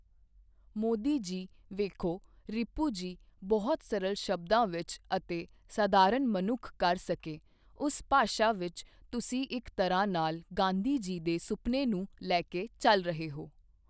ਮੋਦੀ ਜੀ ਵੇਖੋ ਰਿਪੁ ਜੀ, ਬਹੁਤ ਸਰਲ ਸ਼ਬਦਾਂ ਵਿੱਚ ਅਤੇ ਸਧਾਰਣ ਮਨੁੱਖ ਕਰ ਸਕੇ, ਉਸ ਭਾਸ਼ਾ ਵਿੱਚ ਤੁਸੀਂ ਇੱਕ ਤਰ੍ਹਾਂ ਨਾਲ ਗਾਂਧੀ ਜੀ ਦੇ ਸੁਪਨੇ ਨੂੰ ਲੈ ਕੇ ਚੱਲ ਰਹੇ ਹੋ।